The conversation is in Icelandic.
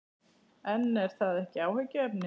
En er það ekki áhyggjuefni?